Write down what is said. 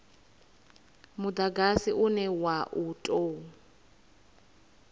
mudagasi une wa u tou